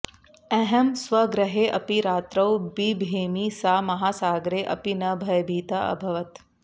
अहं स्वगृहे अपि रात्रौ बिभेमि सा महासागरे अपि न भयभीता अभवत्